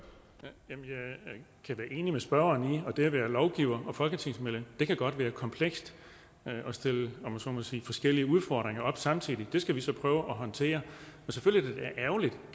kan være enig med spørgeren i at det at være lovgiver og folketingsmedlem godt kan være komplekst og stille om jeg så må sige forskellige udfordringer op samtidig det skal vi så prøve at håndtere